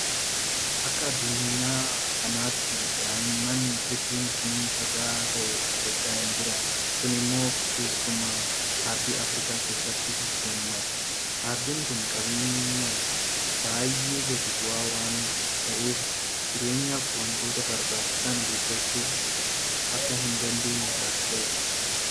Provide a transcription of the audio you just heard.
Akka addunyaa kanaatti daa'imman hedduun kunuunsa gahaa ta'e argachaa hinjiran. Kun immoo keessumaa aardii afriikaa keessatti heddummata. Aardiin kun qabeenyaan baay'een gadi bu'aa waanta ta'eef jireenyaaf waantota barbaachisan guuttachuu akka hindandeenye taasiseera.